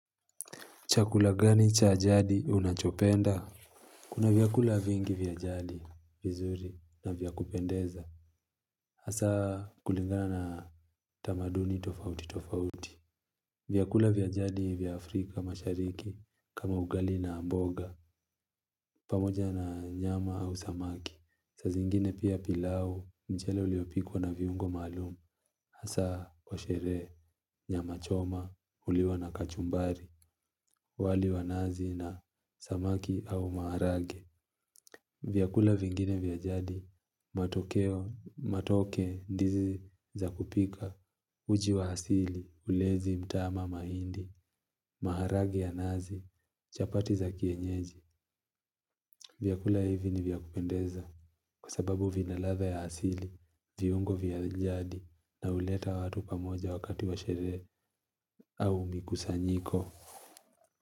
Chakula gani cha jadi unachopenda? Kuna vyakula vingi vya jadi, vizuri na vyakupendeza. Hasa kulingana na tamaduni tofauti tofauti. Vyakula vya jadi vya Afrika Mashariki kama ugali na mboga pamoja na nyama au samaki. Saa zingine pia pilau mchele uliopikwa na viungo maalum. Hasa wa sherehe, nyama choma, huliwa na kachumbari, wali wa nazi na samaki au maharage. Vyakula vingine vya jadi, matoke ndizi za kupika, uji wa hasili, ulezi mtama mahindi, maharage ya nazi, chapati za kienyeji. Vyakula hivi ni vya kupendeza kwa sababu vina ladha ya asili, viungo vya jadi na huleta watu pamoja wakati wa sherehe au mikusanyiko.